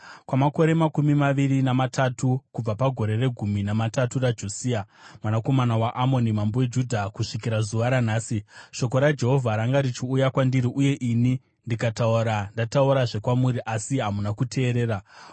Kwamakore makumi maviri namatatu, kubva pagore regumi namatatu raJosia mwanakomana waAmoni mambo weJudha kusvikira zuva ranhasi, shoko raJehovha ranga richiuya kwandiri uye ini ndikataura ndataurazve kwamuri, asi hamuna kuteerera.